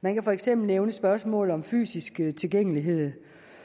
man kan for eksempel nævne spørgsmålet om fysisk tilgængelighed